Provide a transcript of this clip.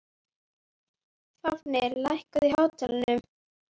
Fáfnir, lækkaðu í hátalaranum.